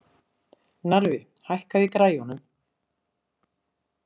Narfi, hækkaðu í græjunum.